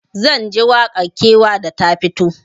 Zanji waƙar kewa da ta fito